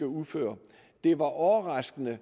uføre det var overraskende at